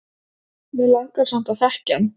Mig langar samt að þekkja hann